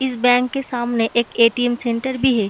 इस बैंक के सामने एक एटीएम सेंटर भी है।